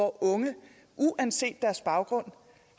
unge uanset deres baggrund